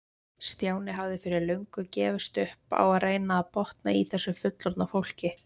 Stjáni hafði fyrir löngu gefist upp á að reyna að botna í þessu fullorðna fólki.